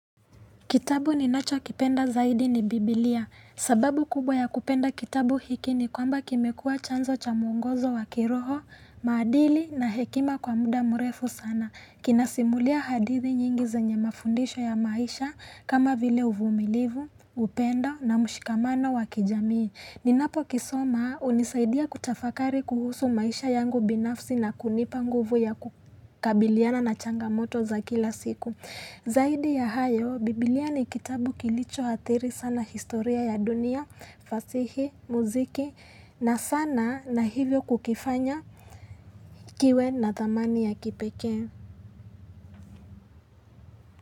Kitabu ninachokipenda zaidi ni Biblia. Sababu kubwa ya kupenda kitabu hiki ni kwamba kimekua chanzo cha mwongozo wa kiroho, maadili na hekima kwa muda mrefu sana. Kinasimulia hadithi nyingi zenye mafundisho ya maisha kama vile uvumilivu, upendo na mshikamano wa kijamii. Ninapo kisoma hunisaidia kutafakari kuhusu maisha yangu binafsi na kunipa nguvu ya kukabiliana na changamoto za kila siku. Zaidi ya hayo, biblia ni kitabu kilicho athiri sana historia ya dunia, fasihi, muziki na sana na hivyo kukifanya kiwe na thamani ya kipekee.